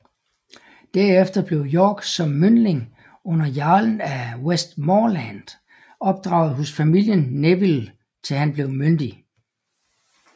Derefter blev York som myndling under jarlen af Westmorland opdraget hos familien Neville til han blev myndig